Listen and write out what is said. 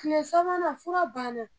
Tile sabanan fura banna